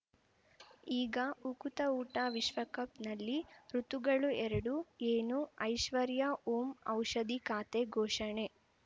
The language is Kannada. ಈಗ ಉಕುತ ಊಟ ವಿಶ್ವಕಪ್‌ನಲ್ಲಿ ಋತುಗಳು ಎರಡು ಏನು ಐಶ್ವರ್ಯಾ ಓಂ ಔಷಧಿ ಖಾತೆ ಘೋಷಣೆ